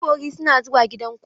Ƴan bori suna zuwa gida ku.